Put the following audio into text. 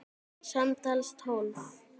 Samtals tólf.